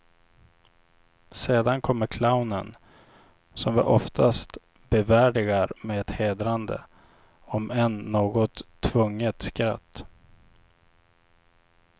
Sedan kommer clownen, som vi oftast bevärdigar med ett hedrande, om än något tvunget skratt.